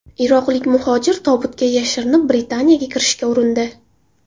Iroqlik muhojir tobutga yashirinib Britaniyaga kirishga urindi.